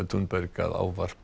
að ávarpa